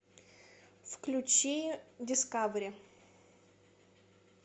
включи дискавери